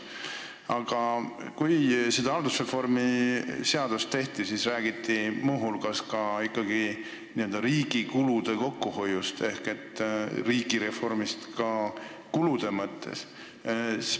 Aga kui seda haldusreformi seadust tehti, siis räägiti muu hulgas riigi kulude kokkuhoiust ehk riigireformist ka kulude mõttes.